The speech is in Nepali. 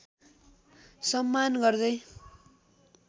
सम्मान गर्दै